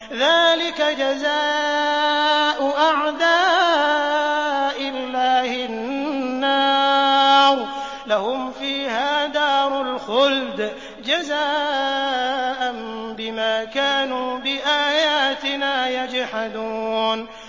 ذَٰلِكَ جَزَاءُ أَعْدَاءِ اللَّهِ النَّارُ ۖ لَهُمْ فِيهَا دَارُ الْخُلْدِ ۖ جَزَاءً بِمَا كَانُوا بِآيَاتِنَا يَجْحَدُونَ